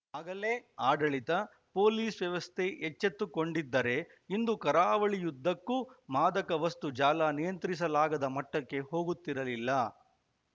ಆಗಲೇ ಆಡಳಿತ ಪೊಲೀಸ್‌ ವ್ಯವಸ್ಥೆ ಎಚ್ಚೆತ್ತುಕೊಂಡಿದ್ದರೆ ಇಂದು ಕರಾವಳಿಯುದ್ದಕ್ಕೂ ಮಾದಕ ವಸ್ತು ಜಾಲ ನಿಯಂತ್ರಿಸಲಾಗದ ಮಟ್ಟಕ್ಕೆ ಹೋಗುತ್ತಿರಲಿಲ್ಲ